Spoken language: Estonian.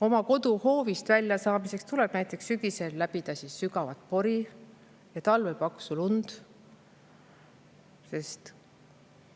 Oma koduhoovist välja saamiseks tuleb sügisel sügavast porist läbi sõita ja talvel paksust lumest.